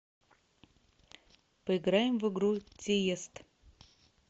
поиграем в игру тиест